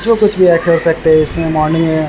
जो कुछ भी है कर सकते है इसमें मॉर्निग में ।